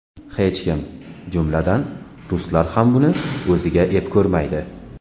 Hech kim, jumladan, ruslar ham buni o‘ziga ep ko‘rmaydi.